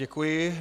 Děkuji.